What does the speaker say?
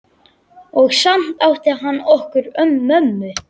Og samt átti hann okkur mömmu.